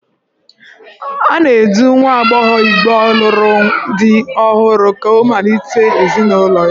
A na-edu nwa agbọghọ Igbo lụrụ di ọhụrụ ụlọ ka ọ malite ezinụlọ ya.